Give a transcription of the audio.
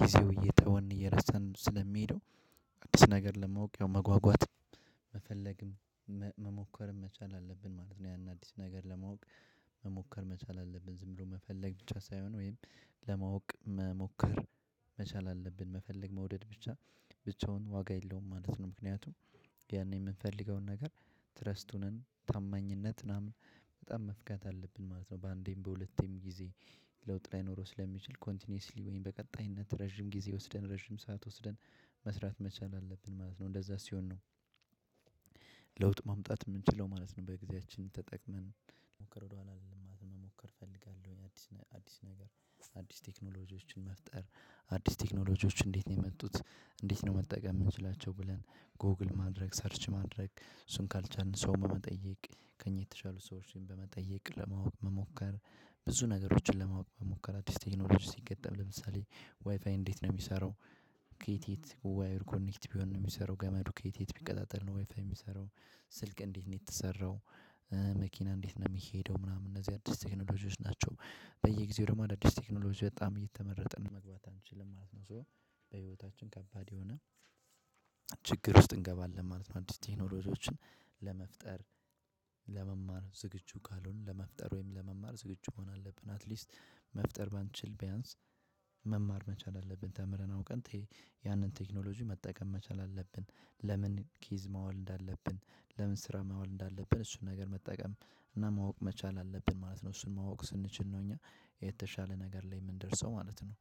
ጊዜው እየተወንን እየረሳን ስለሚሄደው። አዲስ ነገር ለማውቅ ያው መጓጓት መፈለግም መሞከርም መቻል አለብን ማለት ነው። ያን አዲስ ነገር ለማወቅ መሞከር መቻል አለብን ዝም ብሎ መፈለግ ብቻ ሳይሆን ወይም ለማወቅ መሞከር መቻል አለብን መፈለግ መውደድ ብቻ ብቻውን ዋጋ የለውም ማለት ነው። ምክንያቱም ያኔ የምንፈልገውን ነገር ትረስቱንም ታማኝነት ምናምን በጣም መፍገት አለብን ማለት ነው። በአንዴም በሁለቴም ጊዜ ለውጥ ላይ ኖሮ ስለሚችል ኮንቲኒየስሊ ወይም በቀጣይነት ረዥም ጊዜ ወስደን ረዥም ሰዓት ወስደን መስራት መቻል አለብን ማለት ነው። እንደዛ ሲሆን ነው። ለውጥ ማምጣት የምንችለው ማለት ነው። በጊዜያችን ተጠቅመን ለሞከር ወደኋላ አይደለም ማለት መሞከር። አዲስ ነገር አዲስ ቴክኖሎጂዎችን መፍጠር አዲስ ቴክኖሎጂዎችን እንዴት ነው የመጡት? እንዴት ነው መጠቀም የምንችላቸው ብለን? ጎግል ማድረግ ሰርች ማድረግ እሱን ካልቻልን ሰው በመጠየቅ ከእኛ የተሻሉ ሰዎችን በመጠየቅ ለማወቅ መሞከር። ብዙ ነገሮችን ለማወቅ መሞከር አዲስ ቴክኖሎጂ ሲገጠምለምሳሌ ዋይፋይ እንዴት ነው የሚሰራው? ኬት የት ዋየር ጋር ኮኔክት ሆኖ ነው የሚሰራው ገመዱ ኬት የት ቢቀጣጠል ነው ወይፋይ የሚሰራው? ስልክ እንዴት ነው የተሰራው? መኪና እንዴት ነው የሚሄደው ምናምን እነዚህ አዲስ ቴክኖሎጂዎች ናቸው። በየጊዜው ደግሞ አዳዲስ ቴክኖሎጂ በጣም እየተመረጠ መግባት አንችልም ማለት ነው። ሶ በህይወታችን ከባድ የሆነ ችግር ውስጥ እንገባለን ማለት ነው። አዲስ ቴክኖሎጂዎችን ለመፍጠር ለመማር ዝግጁ ካልሆነ ለመፍጠር ወይም ለመማር ዝግጁ መሆን አለብን አትሊስት መፍጠር ባንችል ቢያንስ መማር መቻል አለብን። ተምረን አውቀን ያንን ቴክኖሎጂ መጠቀም መቻል አለብን። ለምን ኪዝ ማወል እንዳለብን? ለምን ስራ ማዋል እንዳለብን? እሱን ነገር መጠቀም እና ማወቅ መቻል አለብን ማለት ነው። እሱን ማወቅ ስንችል ነው እኛ የተሻለ ነገር ላይ የምንደርሰው ማለት ነው።